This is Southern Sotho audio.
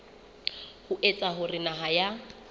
ho etsa hore naha ya